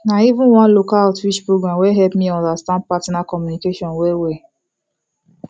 na even one local outreach program wey help me understand partner communication well well